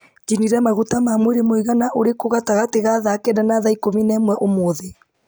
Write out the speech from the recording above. njinire maguta ma mwĩrĩ mũigana ũrĩkũ gatagatĩ ga thaa kenda na thaa ikũmi na ĩmwe ũmũthĩ